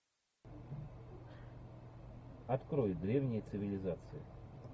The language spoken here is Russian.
открой древние цивилизации